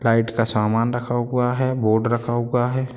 Light का सामान रखा हुआ है। बोर्ड रखा हुआ है।